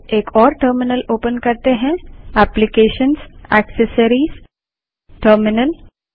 चलिए एक और टर्मिनल ओपन करते हैं application gt accessories gt terminal